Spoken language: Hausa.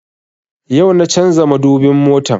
Yau na canza madubin motan